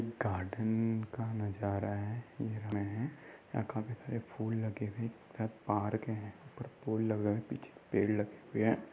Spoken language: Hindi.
गार्डन न् का नजारा है। यहाँ काफी सारे फूल लगे हुए है। शायद पार्क है पर पूल लगा है। पीछे पेड़ लगे हुए हैं --